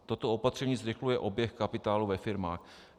Toto opatření zrychluje oběh kapitálu ve firmách.